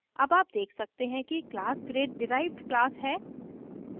अब आप देख सकते हैं कि class grade डिराइव्ड class है